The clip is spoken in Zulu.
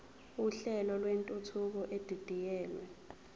uhlelo lwentuthuko edidiyelwe